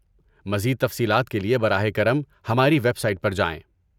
مزید تفصیلات کے لیے براہ کرم ہماری ویب سائٹ پر جائیں۔